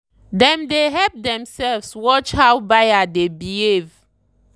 dem dey help themselves watch how buyer dey behave.